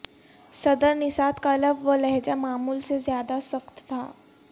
صدر نژاد کا لب و لہجہ معمول سے زیادہ سخت تھا